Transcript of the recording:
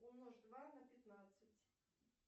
умножь два на пятнадцать